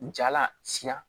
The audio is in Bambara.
Jala sina